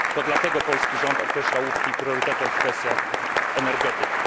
To dlatego polski rząd określa łupki priorytetem w kwestiach energetyki.